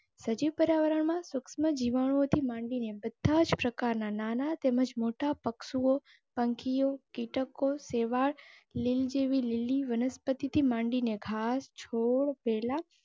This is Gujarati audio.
સજીવ પર્યાવરણમાં સુક્ષ્મ જીવાણુઓથી માંડીને બધાજ પ્રકારના નાના તેમજ મોટા પશુઓ, પંખીઓ, કીટકો, સેવાળ, લીલ જેવી લીલી વનસ્પતિથી માંડી ને ઘાસ, છોડ, વેલા.